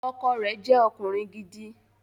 Ọkọ rẹ̀ jẹ́ ọkùnrin gidi